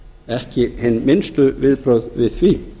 ekki hin minnstu viðbrögð við því